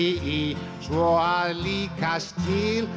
í svo að líkast til